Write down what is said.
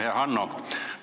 Hea Hanno!